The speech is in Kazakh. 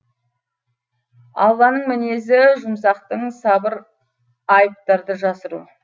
алланың мінезі жұмсақтың сабыр айыптарды жасыру